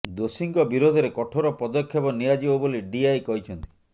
ଦୋଷୀଙ୍କ ବିରୋଧରେ କଠୋର ପଦକ୍ଷେପ ନିଆଯିବ ବୋଲି ଡିଆଇ କହିଛନ୍ତି